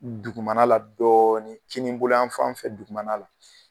Dugumana la dɔɔni, kinibolo yan fan fɛ dugumana la.